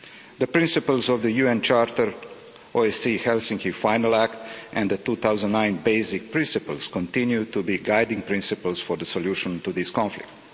The principles of the UN Charter, the OSCE Helsinki Final Act and the 2009 Basic Principles continue to be the guiding principles for the solution to this conflict.